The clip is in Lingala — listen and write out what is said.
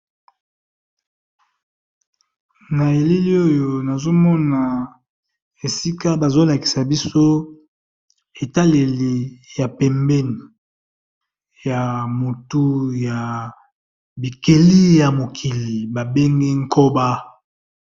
Na eleli oyo nazo mona esika bazo lakisa biso etaleli ya pembeni ya motu ya bikeli ya mokili ba bengi nkoba.